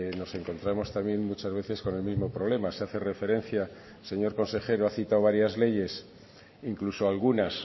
nos encontramos también muchas veces con el mismo problema se hace referencia el señor consejero ha citado varias leyes incluso algunas